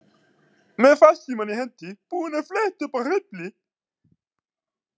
Með farsímann í hendi, búin að fletta upp á Hreyfli.